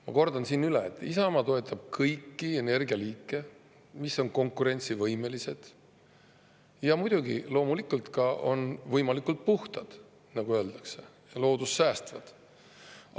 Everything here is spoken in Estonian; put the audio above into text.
Ma kordan siin, et Isamaa toetab kõiki energialiike, mis on konkurentsivõimelised ja loomulikult ka võimalikult puhtad, nagu öeldakse, loodust säästvad.